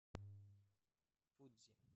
фудзи